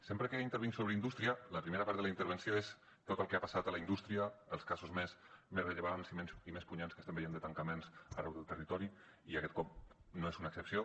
sempre que intervinc sobre indústria la primera part de la intervenció és tot el que ha passat a la indústria els casos més rellevants i més punyents que estem veient de tancaments arreu del territori i aquest cop no és una excepció